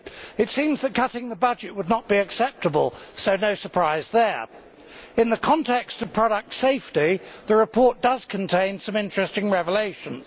It seems that cutting the budget would not be acceptable. No surprise there! In the context of product safety, the report does contain some interesting revelations.